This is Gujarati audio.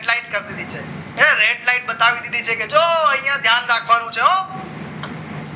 decline community છે એને રેડ લાઈટ બતાવી દીધી છે કે જો અહીંયા ધ્યાન રાખવાનું છે હો